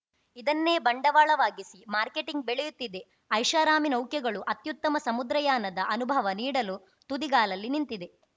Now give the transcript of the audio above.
ಇದನ್ನೇ ಬಂಡವಾಳವಾಗಿಸಿ ಮಾರ್ಕೆಟಿಂಗ್‌ ಬೆಳೆಯುತ್ತಿದೆ ಐಷಾರಾಮಿ ನೌಕೆಗಳು ಅತ್ಯುತ್ತಮ ಸಮುದ್ರಯಾನದ ಅನುಭವ ನೀಡಲು ತುದಿಗಾಲಲ್ಲಿ ನಿಂತಿದೆ